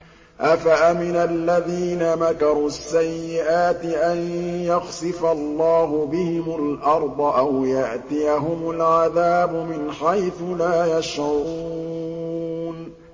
أَفَأَمِنَ الَّذِينَ مَكَرُوا السَّيِّئَاتِ أَن يَخْسِفَ اللَّهُ بِهِمُ الْأَرْضَ أَوْ يَأْتِيَهُمُ الْعَذَابُ مِنْ حَيْثُ لَا يَشْعُرُونَ